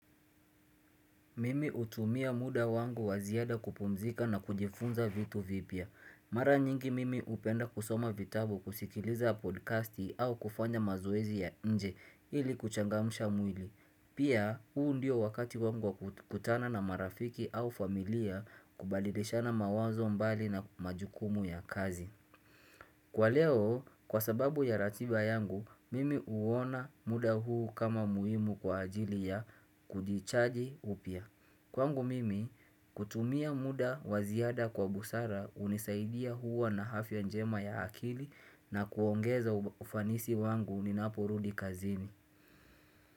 Mimi utumia muda wangu wa ziada kupumzika na kujifunza vitu vipya. Mara nyingi mimi upenda kusoma vitabu kusikiliza podcasti au kufanya mazoezi ya nje ili kuchangamusha mwili. Pia huu ndio wakati wangu wa kutana na marafiki au familia kubadilishana mawazo mbali na majukumu ya kazi. Kwa leo, kwa sababu ya ratiba yangu, mimi uona muda huu kama muhimu kwa ajili ya kujichaji upya. Kwangu mimi, kutumia muda wa ziada kwa busara unisaidia huwana afya njema ya akili na kuongeza ufanisi wangu ni napurudi kazini.